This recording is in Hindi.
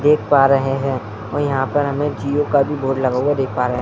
देख पा रहे हैं और यहाँ पर हमें जिओ का भी बोर्ड लगा हुआ देख पा रहे हैं ।